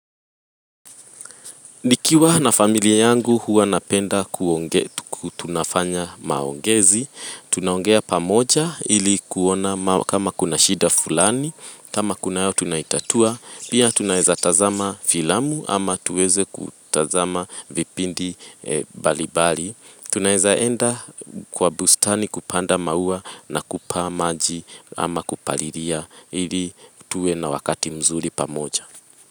Nikiwa na familia yangu huwa napenda kuongea tunafanya maongezi. Tunaongea pamoja ili kuona kama kuna shida fulani. Kama kunayo tunaitatua. Pia tunaeza tazama filamu ama tuweze kutazama vipindi balibali. Tunaeza enda kwa bustani kupanda maua na kupaa maji ama kupaliria ili tuwe na wakati mzuri pamoja.